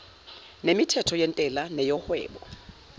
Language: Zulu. nemithetho yentela neyohwebo